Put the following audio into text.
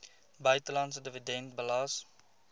buitelandse dividend belas